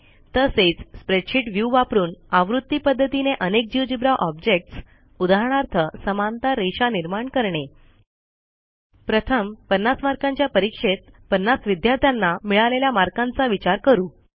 तसेच spreadsheet view वापरून आवर्ती पध्दतीने अनेक जिओजेब्रा ऑब्जेक्ट्स उदाहरणार्थ समांतर रेषा निर्माण करणे प्रथम 50 मार्कांच्या परीक्षेत50 विद्यार्थ्यांना मिळालेल्या मार्कांचा विचार करू